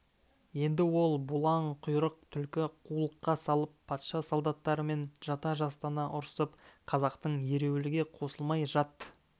енді ол бұлаң құйрық түлкі қулыққа салып патша солдаттарымен жата-жастана ұрысып қазақтың ереуілге қосылмай жат-